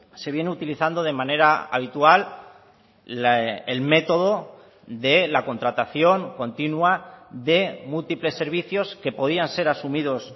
se viene utilizando de manera habitual el método de la contratación continua de múltiples servicios que podían ser asumidos